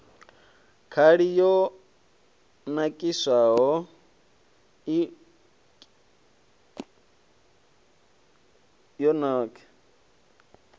khali yo nakiswaho i okisaho